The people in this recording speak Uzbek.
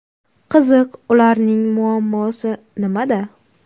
Qiziq, ularning muammosi nimada?